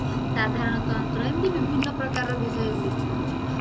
ସାଧାରଣତନ୍ତ୍ର ଏମିତି ବିଭିନ୍ନ ପ୍ରକାରର ବିଷୟ ଉଲ୍ଲେଖ କରୁଛି